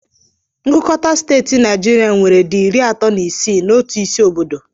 Ngụkọta steeti Naijiria nwere di iri atọ na isii na otu isi obodo